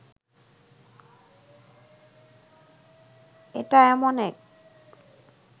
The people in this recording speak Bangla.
এটা এমন এক